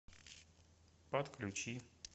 подключи